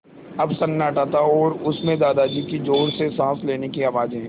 अब सन्नाटा था और उस में दादाजी की ज़ोर से साँस लेने की आवाज़ें